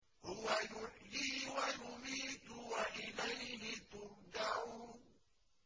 هُوَ يُحْيِي وَيُمِيتُ وَإِلَيْهِ تُرْجَعُونَ